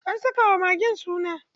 An saka wa magen suna.